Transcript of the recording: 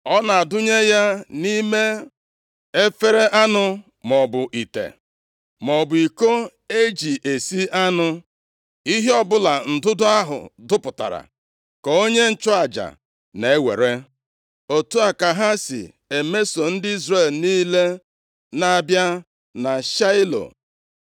Ọ na-adụnye ya nʼime efere anụ maọbụ ite, maọbụ iko e ji esi anụ. Ihe ọbụla ndụdụ ahụ dụpụtara ka onye nchụaja na-ewere. Otu a ka ha si emeso ndị Izrel niile na-abịa na Shaịlo.